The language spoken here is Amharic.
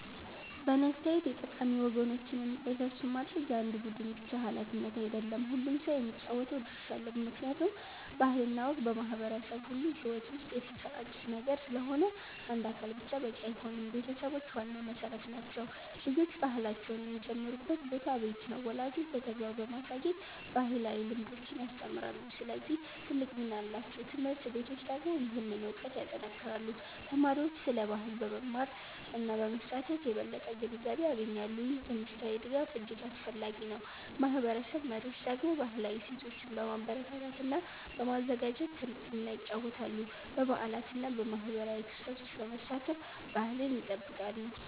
በእኔ አስተያየት የጠቃሚ ወጎችን እንዳይረሱ ማድረግ የአንድ ቡድን ብቻ ሃላፊነት አይደለም፤ ሁሉም ሰው የሚጫወተው ድርሻ አለው። ምክንያቱም ባህል እና ወግ በማህበረሰብ ሁሉ ሕይወት ውስጥ የተሰራጨ ነገር ስለሆነ አንድ አካል ብቻ በቂ አይሆንም። ቤተሰቦች ዋና መሠረት ናቸው። ልጆች ባህላቸውን የሚጀምሩበት ቦታ ቤት ነው። ወላጆች በተግባር በማሳየት ባህላዊ ልምዶችን ያስተምራሉ፣ ስለዚህ ትልቅ ሚና አላቸው። ት/ቤቶች ደግሞ ይህንን እውቀት ያጠናክራሉ። ተማሪዎች ስለ ባህል በመማር እና በመሳተፍ የበለጠ ግንዛቤ ያገኛሉ። ይህ ትምህርታዊ ድጋፍ እጅግ አስፈላጊ ነው። ማህበረሰብ መሪዎች ደግሞ ባህላዊ እሴቶችን በማበረታታት እና በማዘጋጀት ትልቅ ሚና ይጫወታሉ። በበዓላት እና በማህበራዊ ክስተቶች በመሳተፍ ባህልን ይጠብቃሉ።